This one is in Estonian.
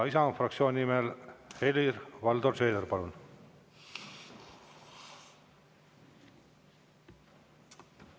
Isamaa fraktsiooni nimel Helir-Valdor Seeder, palun!